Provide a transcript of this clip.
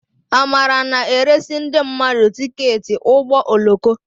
Amara na-eresị ndị mmadụ tiketi ụgbọ oloko.